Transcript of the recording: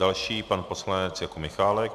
Další pan poslanec Jakub Michálek.